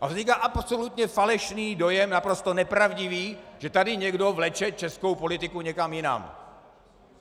A vzniká absolutně falešný dojem, naprosto nepravdivý, že tady někdo vleče českou politiku někam jinam.